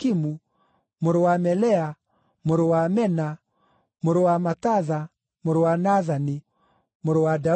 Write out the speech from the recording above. mũrũ wa Melea, mũrũ wa Mena, mũrũ wa Matatha, mũrũ wa Nathani, mũrũ wa Daudi,